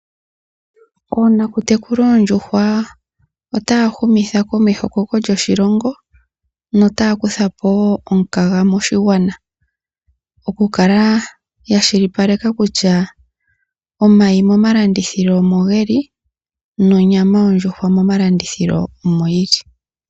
Oonakutekula oondjuhwa otaya humitha komeho ekoko lyoshilongo, notaya kuthapo wo omukaga moshigwana. Okukala yakwashilipaleka kutya omayi momalandithilo omo ge li, nonyama yondjuhwa momalandithilo omo yi li.